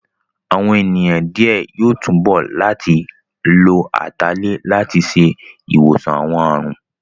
Àwọn ènìyàn díẹ̀ yóò túbọ̀ láti lo Atalẹ̀ láti ṣe ìwòsàn àwọn àrùn